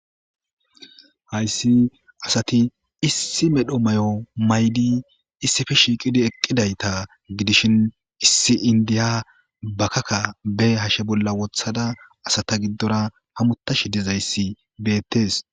Hayssi asati issi medho may7o maydi issife shiiqidi eqqidayta gidishin issi indiya bakakka be hashe bolla wothada asata giddora hamutashi dezayssi beettes.